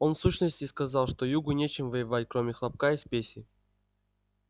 он в сущности сказал что югу нечем воевать кроме хлопка и спеси